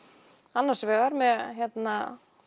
annars vegar með að